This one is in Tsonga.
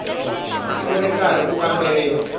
ku ri karhi ku kamberiwa